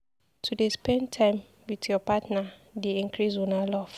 To dey spend time wit your partner dey increase una love.